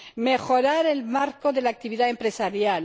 mejorar el marco de la actividad empresarial